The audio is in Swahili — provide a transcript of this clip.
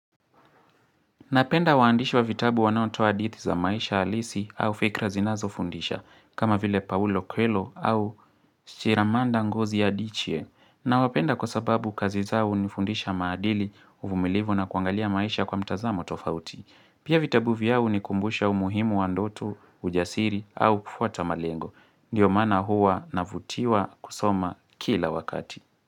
Napenda waandishi wa vitabu wanaotoa hadithi za maisha halisi au fikra zinazofundisha, kama vile Paulo Kuelo au Shiramanda ngozi Adichie. Nawapenda kwa sababu kazi zao hunifundisha maadili, uvumilivu na kuangalia maisha kwa mtazamo tofauti. Pia vitabu vyao hunikumbusha umuhimu wa ndoto ujasiri au kufuata malengo. Ndiyo maana huwa navutiwa kusoma kila wakati.